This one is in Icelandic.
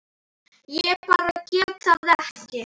Ég bara gat það ekki.